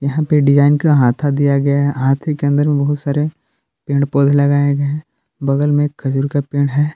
यहां पे डिजाइन का हाथा दिया गया है हाथे के अंदर में बहुत सारे पेड़ पौधे लगाए गए हैं बगल में एक खजूर का पेड़ है।